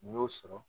N'i y'o sɔrɔ